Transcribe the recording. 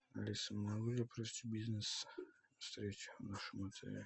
алиса могу я провести бизнес встречу в нашем отеле